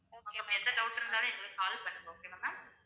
okay உங்களுக்கு எந்த doubt இருந்தாலும் எங்களுக்கு call பண்ணுங்க okay வா ma'am